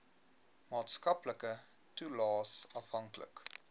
maatskaplike toelaes afhanklik